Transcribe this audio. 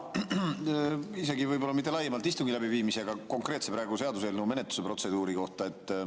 Isegi võib-olla mitte laiemalt istungi läbiviimise, vaid konkreetse seaduseelnõu menetluse protseduuri kohta.